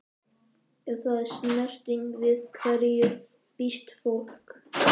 Ef það er snerting- við hverju býst fólk?